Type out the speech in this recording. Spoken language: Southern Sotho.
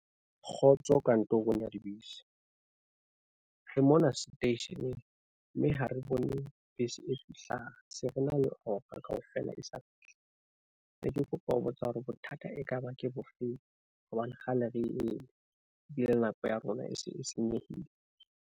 Kgotso kantorong ya dibese, re mona seteisheneng mme ha re bone bese e fihlang, se re na le hora kaofela e sa fihle. Ne ke kopa ho botsa hore bothata ekaba ke bofeng? Hobane kgale re eme ebile nako ya rona e se e senyehile.